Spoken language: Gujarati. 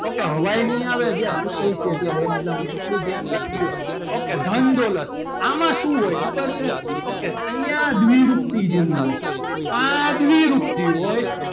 ok હવાઈ નહીં આવે જ્યારે પૂછાયું છે ત્યારે exam માં ત્યારે એટલું ધ્યાન રાખજો ok ધન દોલત આમાં શું હોય ખબર છે ok અહીંયા દ્વિ રૂપથી જેવું હોય કા દ્વિરૂપતિ હોય.